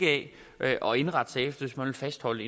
af og indrette sig efter hvis man vil fastholde